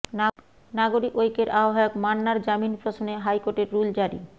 নাগরিক ঐক্যের আহ্ববায়ক মান্নার জামিন প্রশ্নে হাইকোর্টের রুল জারি